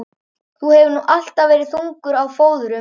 Þú hefur nú alltaf verið þungur á fóðrum.